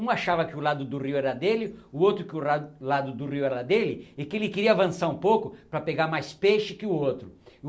Um achava que o lado do rio era dele, o outro que o ra lado do rio era dele, e que ele queria avançar um pouco para pegar mais peixe que o outro.